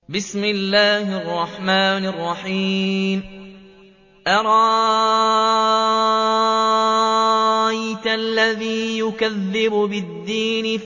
أَرَأَيْتَ الَّذِي يُكَذِّبُ بِالدِّينِ